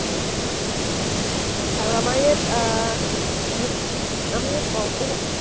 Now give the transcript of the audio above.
আৰু আমাৰ ইয়াত আহ আমাৰ ইয়াত